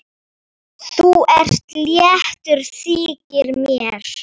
Þú ert léttur, þykir mér!